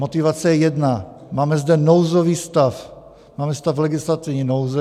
Motivace je jedna: Máme zde nouzový stav, máme stav legislativní nouze.